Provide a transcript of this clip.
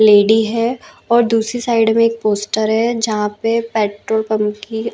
lady है और दूसरी साइड में एक पोस्टर है जहाँ पे पेट्रोल पम्प की--